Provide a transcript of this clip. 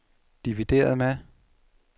divideret med